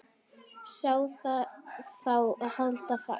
Sá þarf þá að halda fast.